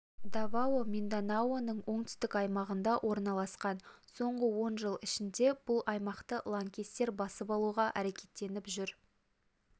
давао минданаоның оңтүстік аймағында орналасқан соңғы он жыл ішінде бұл аймақты лаңкестер басып алуға әрекеттеніп жүр